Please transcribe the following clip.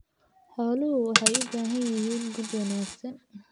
Xooluhu waxay u baahan yihiin quud wanaagsan.